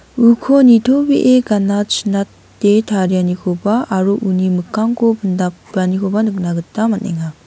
uko nitobee gana chinate tarianikoba aro uni mikkangko pindapanikoba nikna gita man·enga.